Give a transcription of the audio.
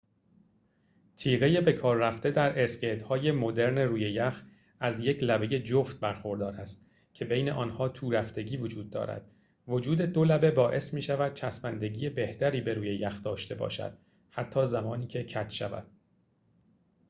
تیغه بکاررفته در اسکیت‌های مدرن روی یخ از یک لبه جفت برخوردار است که بین آنها تورفتگی وجود دارد وجود دو لبه باعث می‌شود چسبندگی بهتری بر روی یخ داشته باشد حتی زمانی که کج شود